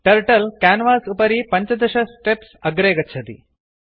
turtle canvas उपरि 15 steps अग्रे गच्छति